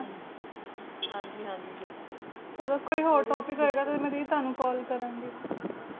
ਹਾਂਜੀ ਹਾਂਜੀ ਬਿਲਕੁਲ ਚਲੋ ਕੋਈ ਹੋਰ Topic ਹੋਏ ਗਾ ਤੇ ਮੈਂ ਦੀ ਤੁਹਾਨੂੰ Call ਕਰਾਂਗੀ